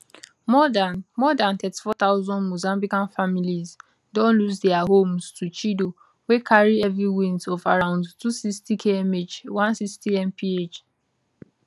more dan more dan 34000 mozambican families don lose dia homes to chido wey carry heavy winds of around 260kmh 160mph